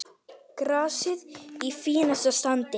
Grasið í fínasta standi.